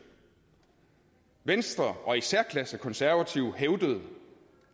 venstre og i særklasse konservative hævdede